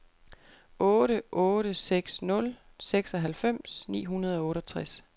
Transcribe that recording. otte otte seks nul seksoghalvfems ni hundrede og otteogtres